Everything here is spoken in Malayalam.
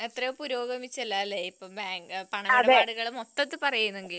എത്രയോ പുരോഗമിച്ചല്ലോ കാര്യങ്ങൾ മൊത്തത്തിൽ പറയുകയാണെങ്കിൽ